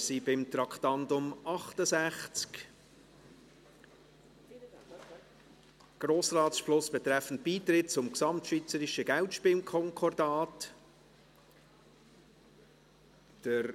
Wir sind beim Traktandum 68, «Grossratsbeschluss betreffend Beitritt zum Gesamtschweizerischen Geldspielkonkordat (GSK)».